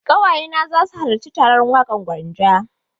Ƙawaye na za su halarci taron Waƙar Gwanja.